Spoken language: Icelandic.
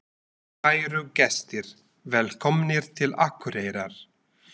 Kæru gestir! Velkomnir til Akureyrar.